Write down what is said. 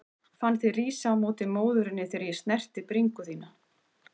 Fann þig rísa á móti móðurinni þegar ég snerti bringu þína.